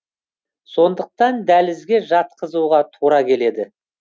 сондықтан дәлізге жатқызуға тура келеді